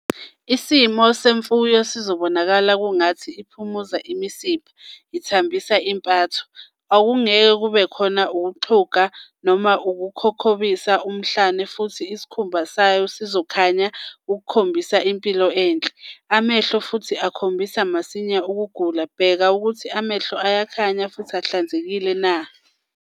Isimo semfuyo sizobonakala kungathi iphumuza imisipha, ithambisa impatho, - akungeke kubekhona ukuxhuga, noma ukukhobisa umhlane futhi isikhumba sayo sizokhanya ukukhombisa impilo enhle. Amehlo futhi akhombisa masinya ukugula, bheka ukuthi amehlo ayakhanya ahlanzekile.